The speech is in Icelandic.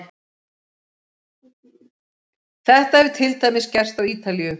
Þetta hefur til dæmis gerst á Ítalíu.